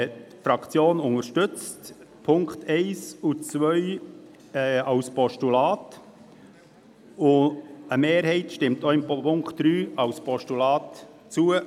Die Fraktion unterstützt die Punkte 1 und 2 des Vorstosses Abplanalp als Postulat, und eine Mehrheit stimmt auch dem Punkt 3 als Postulat zu.